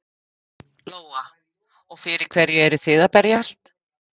Lóa: Og fyrir hverju eruð þið að berjast?